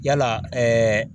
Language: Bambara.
Yala